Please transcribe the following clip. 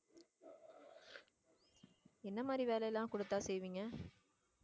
என்ன மாதிரி வேலை எல்லாம் கொடுத்தால் செய்வீங்க